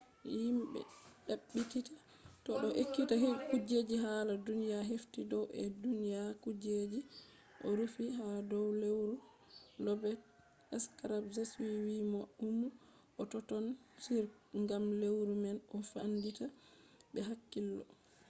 himɓe ɗaɓɓititta bo ɗo ekkita kujeji hala duniya hefti dow ɓe ɗo ɗyona kujeji ɗo rufi ha dow lewru lobet skraps. ɓe wi mo ɗum ɗo totton on gam lewru man ɗo famɗita be hakkiilo